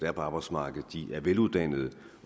er på arbejdsmarkedet er veluddannede